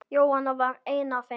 Jóhanna var ein af þeim.